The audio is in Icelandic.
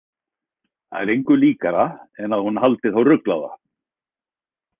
Það er engu líkara en að hún haldi þá ruglaða.